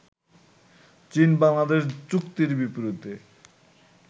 চীন-বাংলাদেশ চুক্তির বিপরীতে